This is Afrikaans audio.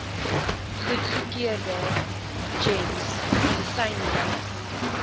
goedgekeurde gems medisynelys